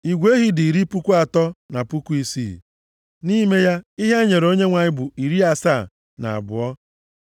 Igwe ehi dị iri puku atọ na puku isii (36,000). Nʼime ya, ihe e nyere Onyenwe anyị bụ iri asaa na abụọ (72).